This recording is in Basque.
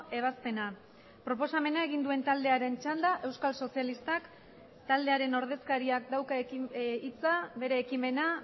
ebazpena proposamena egin duen taldearen txanda euskal sozialistak taldearen ordezkariak dauka hitza bere ekimena